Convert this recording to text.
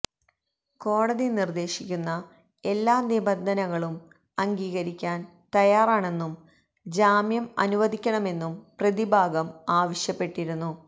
കോടതി നിര്ദേശിക്കുന്ന എല്ലാ നിബന്ധനകളും അംഗീകരിക്കാന് തയാറാണെന്നും ജാമ്യം അനുവദിക്കണമെന്നും പ്രതിഭാഗം ആവശ്യപ്പെട്ടിരുന്നു